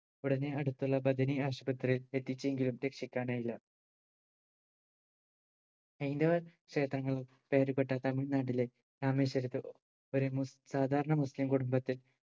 ഉടനെ അടുത്തുള്ള ബഥനി ആശുപത്രിയിൽ എത്തിച്ചെങ്കിലും രക്ഷിക്കാനായില്ല ഹൈന്ദവ ക്ഷേത്രങ്ങളും പേരുകേട്ട തമിഴ്‌നാട്ടിലെ രാമേശ്വരത്ത് ഏർ ഒരു മുസ് സാധാരണ മുസ്ലിം കുടുംബത്തിൽ